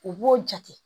U b'o jate